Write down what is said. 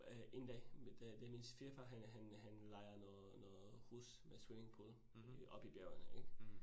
Øh én dag det det min svigerfar. Han han han lejer noget noget hus med swimmingpool oppe i bjergene ik